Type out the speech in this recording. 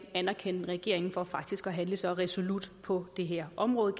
anerkende regeringen for faktisk at handle så resolut på det her område